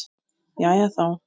Jæja þá.